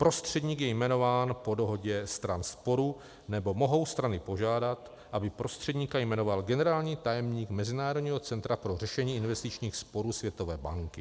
Prostředník je jmenován po dohodě stran sporu, nebo mohou strany požádat, aby prostředníka jmenoval generální tajemník Mezinárodního centra pro řešení investičních sporů Světové banky.